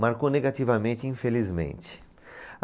Marcou negativamente, infelizmente.